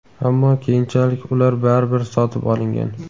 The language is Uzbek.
ammo keyinchalik ular baribir sotib olingan.